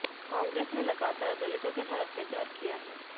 कांग्रेस ने लगातार दलितों के साथ अत्याचार किया है